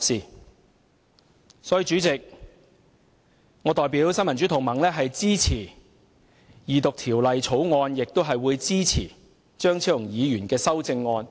因此，主席，我代表新民主同盟支持二讀《條例草案》，並支持張超雄議員的修正案。